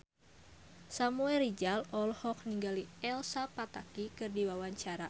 Samuel Rizal olohok ningali Elsa Pataky keur diwawancara